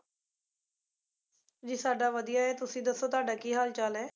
ਜੀ ਸਾਡਾ ਵਧੀਆ ਹੈ ਤੁਸੀਂ ਦੱਸੋ ਤੁਹਾਡਾ ਕੀ ਹਾਲ ਚਾਲ ਹੈ?